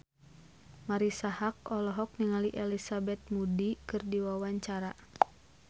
Marisa Haque olohok ningali Elizabeth Moody keur diwawancara